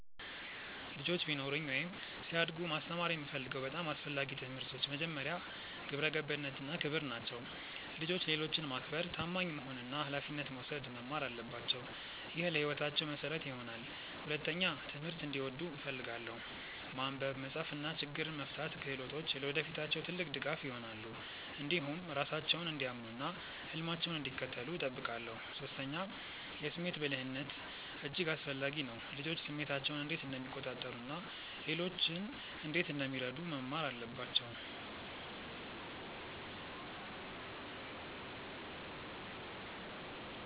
ልጆች ቢኖሩኝ ወይም ሲያድጉ ማስተማር የምፈልገው በጣም አስፈላጊ ትምህርቶች መጀመሪያ፣ ግብረ ገብነት እና ክብር ናቸው። ልጆች ሌሎችን ማክበር፣ ታማኝ መሆን እና ኃላፊነት መውሰድ መማር አለባቸው። ይህ ለሕይወታቸው መሠረት ይሆናል። ሁለተኛ፣ ትምህርትን እንዲወዱ እፈልጋለሁ። ማንበብ፣ መጻፍ እና ችግኝ መፍታት ክህሎቶች ለወደፊታቸው ትልቅ ድጋፍ ይሆናሉ። እንዲሁም ራሳቸውን እንዲያምኑ እና ህልማቸውን እንዲከተሉ እጠብቃለሁ። ሶስተኛ፣ የስሜት ብልህነት እጅግ አስፈላጊ ነው። ልጆች ስሜታቸውን እንዴት እንደሚቆጣጠሩ እና ሌሎችን እንዴት እንደሚረዱ መማር አለባቸው